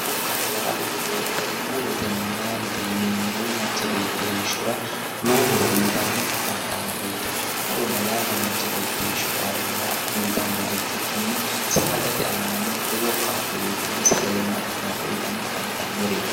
Muronna laalo yineemmori muronna laalote yineemmori manchi beetira manchi beeti heeshshora lowo horo uutanni afantannoreetti muronna laalo manchi beeti heeshshora calla uutannoha ikiki saadate aananno lowo kaa'lo uutannj sagalimmate kaa'lo uutanni afantannoreeti